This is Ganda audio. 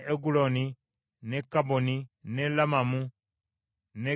n’e Kabboni, n’e Lamamu, n’e Kitulisi,